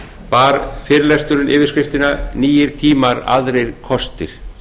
bar fyrirlesturinn yfirskriftina nýir tímar aðrir kostir